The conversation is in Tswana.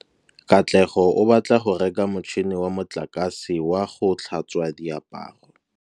Katlego o batla go reka motšhine wa motlakase wa go tlhatswa diaparo.